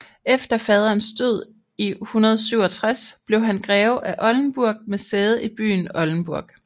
Efter faderens død i 167 blev han greve af Oldenburg med sæde i byen Oldenburg